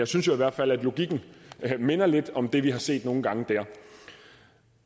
synes i hvert fald at logikken minder lidt om det vi har set nogle gange der